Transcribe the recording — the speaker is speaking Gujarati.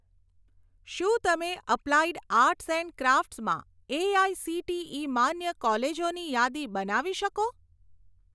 શું તમે અપ્લાઇડ આર્ટ્સ એન્ડ ક્રાફ્ટસ માં એઆઇસીટીઇ માન્ય કોલેજોની યાદી બનાવી શકો?